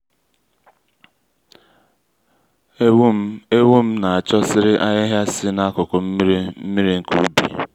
éwú m éwú m ná-achọ́sị́rị́ àhị́hị́á sí n'ákụ́kụ́ mmiri mmiri nke ubi.